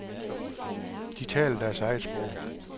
De taler deres eget sprog.